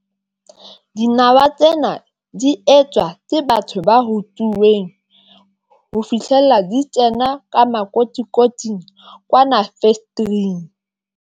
Dinawa tsena di etswa ke batho ba rutuweng ho fihlella di kena ka makotikoting, kwana factory-ing.